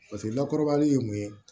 Paseke lakɔrɔba ye mun ye